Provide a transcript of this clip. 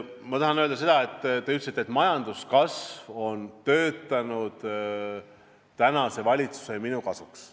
Te ütlesite, et majanduskasv on töötanud tänase valitsuse ja minu kasuks.